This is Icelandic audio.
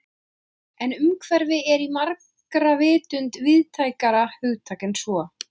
En umhverfi er í margra vitund víðtækara hugtak en svo.